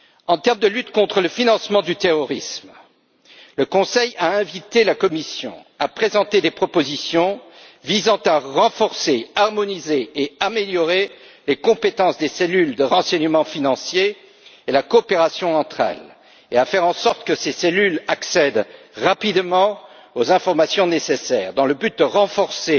En termes de lutte contre le financement du terrorisme, le Conseil a invité la Commission à présenter des propositions visant à renforcer, harmoniser et améliorer les compétences des cellules de renseignement financier et la coopération entre elles, et à faire en sorte que ces cellules accèdent rapidement aux informations nécessaires dans le but de renforcer